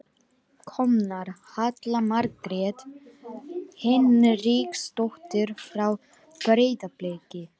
Komnar: Halla Margrét Hinriksdóttir frá Breiðabliki.